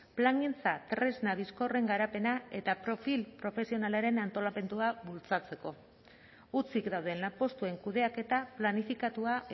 plangintza tresna bizkorren garapena eta profil profesionalaren antolamendua bultzatzeko hutsik dauden lanpostuen kudeaketa planifikatua